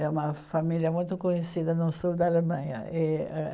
É uma família muito conhecida no sul da Alemanha. E âh